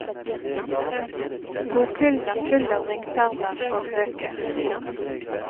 Bokhyllen er full av ringpermer og bøker.